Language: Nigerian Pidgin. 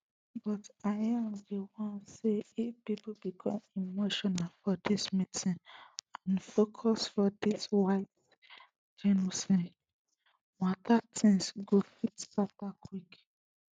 but im dey warn say if pipo become emotional for dis meeting and focus for di white genocide mata tins go fit scata quick